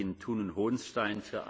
Panie Przewodniczący!